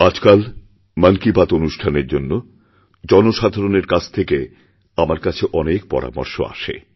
আজকাল মন কিবাত অনুষ্ঠানের জন্য জনসাধারণের কাছ থেকে আমার কাছে অনেক পরামর্শ আসে